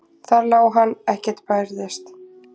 Þar lá hann, ekkert bærðist.